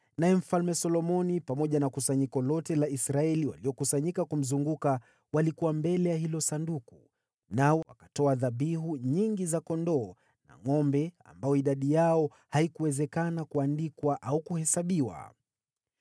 naye Mfalme Solomoni na kusanyiko lote la Israeli waliokusanyika kumzunguka walikuwa mbele ya hilo Sanduku, nao wakatoa dhabihu nyingi za kondoo na ngʼombe ambao idadi yao haikuwezekana kuandikwa au kuhesabiwa.